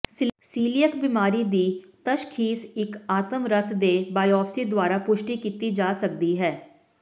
coeliac ਬੀਮਾਰੀ ਦੀ ਤਸ਼ਖ਼ੀਸ ਇੱਕ ਆਤਮ ਰਸ ਦੇ ਬਾਇਓਪਸੀ ਦੁਆਰਾ ਪੁਸ਼ਟੀ ਕੀਤੀ ਜਾ ਸਕਦੀ ਹੈ